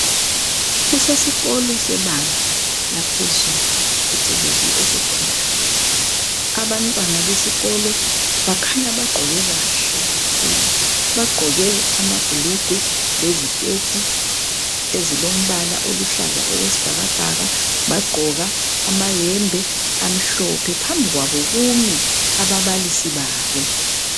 Kusesikolo sebanga laphezulu phecelezi esekhondali , abantwana besikolo bakhanya bagqoke kuhle kakhulu amabhulugwa, iziketi, alombala oyisibhakabhaka bagqoko amayembe amhlophe phambi kwabo kumi ababalisi babo